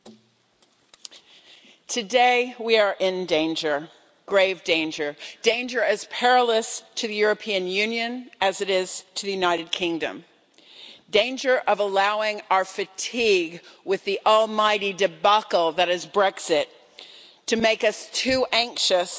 Madam President, today we are in danger, grave danger, danger as perilous to the European Union as it is to the United Kingdom the danger of allowing our fatigue with the almighty debacle that is Brexit to make us too anxious